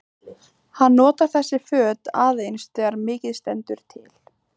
Hann notar þessi föt aðeins þegar mikið stendur til.